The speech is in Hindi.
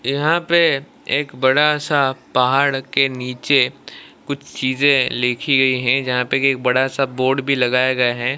यहां पे एक बड़ा सा पहाड़ के नीचे कुछ चीजें लिखी गई है जहां पे एक बड़ा सा बोर्ड भी लगाया गया है।